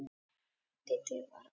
En Dídí var ákveðin.